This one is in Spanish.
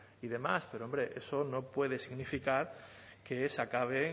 y demás pero hombre eso no puede significar que se acabe